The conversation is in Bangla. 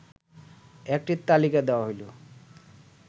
একটি তালিকা দেয়া হল